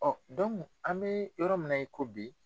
an bɛ yɔrɔ min na i ko bi.